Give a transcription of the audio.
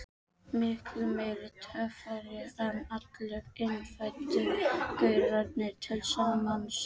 Miklu meiri töffari en allir innfæddu gaurarnir til samans.